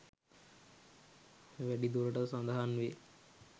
වැඩි දුරටත් සඳහන් වේ.